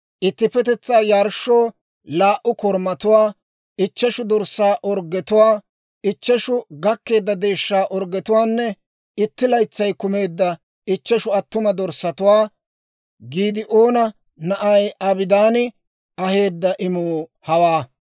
ittippetetsaa yarshshoo laa"u korumatuwaa, ichcheshu dorssaa orggetuwaa, ichcheshu gakkeedda deeshshaa orggetuwaanne, itti laytsay kumeedda ichcheshu attuma dorssatuwaa. Giidi'oona na'ay Abidaani aheedda imuu hawaa.